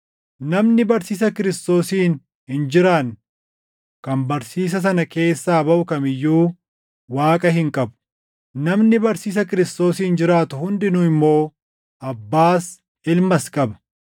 Namni barsiisa Kiristoosiin hin jiraanne kan barsiisa sana keessaa baʼu kam iyyuu Waaqa hin qabu; namni barsiisa Kiristoosiin jiraatu hundinuu immoo Abbaas Ilmas qaba.